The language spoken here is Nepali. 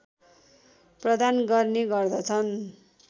प्रदान गर्ने गर्दछन्